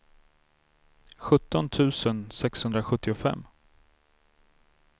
sjutton tusen sexhundrasjuttiofem